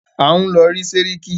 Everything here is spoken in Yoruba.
À ń lọ rí sẹ́ríkí.